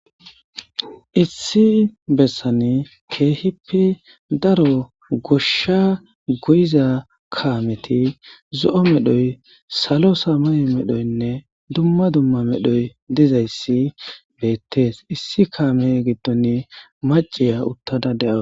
Issi besani kehippe daro goshshaa goyzaa kaamethi zo7o medhoy,salo samayo medhoynne dumma dumma medhoy dizayssi beeththees; issi kaamee giddoni macciya uththada de7awus.